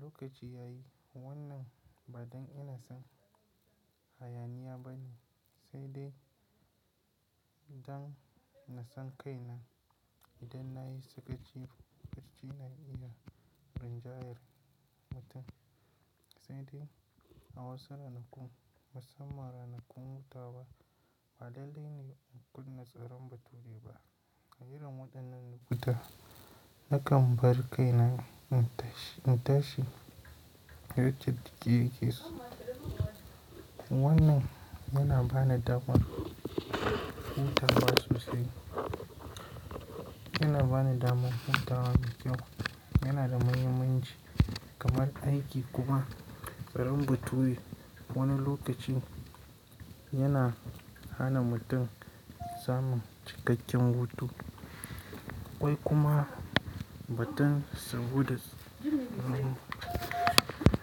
Lokaci ya yi wannan ba don ina son hayaniya ba ne sai dai don na san kai na idan na yi sakaci, barci na iya rinjayar mutum. Sai dai a wasu ranakun, musamman ranakun huta wa, ba lallai ne in kunna tsaron bature ba. A Irin waɗannan lokuta nakan bar kai na in tashi, in tashi yadda jiki yake so. Wannan yana bani damar hutawa sosai. Yana bani damar hutawa mai kyau. Yana da mahimmanci kamar aiki kuma tsaron bature wani lokaci yana hana mutum samun cikakken hutu wai kuma ba don saboda nomba.